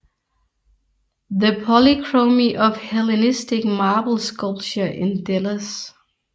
The Polychromy of Hellenistic Marble Sculpture in Delos